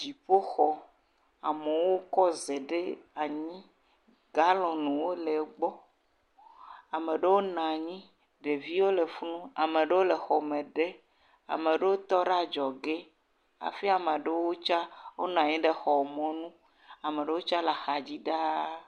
Dziƒo xɔ, amowo kɔ ze ɖe anyi, galɔnwo le gbɔ, ameɖowo nanyi, ɖeviwo le fim, ameɖewo le xɔme ɖe, ameɖowo tɔ ɖe adzɔge, hafi amaɖowo tsa, o nanyi ɖe xɔ mɔ nu, amaɖowo tsa le axa dzi ɖaa.